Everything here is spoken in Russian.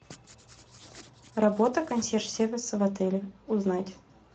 работа консьерж сервиса в отеле узнать